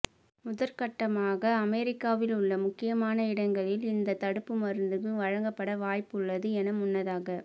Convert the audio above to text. முதற்கட்டமாக அமெரிக்காவில் உள்ள முக்கியமான இடங்களில் இந்த தடுப்பு மருந்துகள் வழங்கப்பட வாய்ப்பு உள்ளது என முன்னதாக